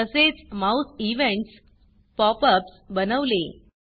तसेच mouse events pop ups बनवले